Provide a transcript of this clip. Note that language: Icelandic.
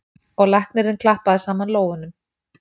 Og læknirinn klappaði saman lófunum.